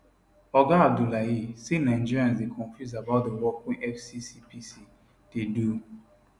oga abdullahi say nigerians dey confuse about di work wey fccpc dey do